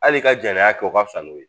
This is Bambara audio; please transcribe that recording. Hali ka janya kɛ o ka fisa n'o ye